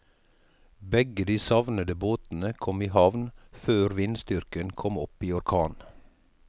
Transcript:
Begge de savnede båtene kom i havn før vindstyrken kom opp i orkan.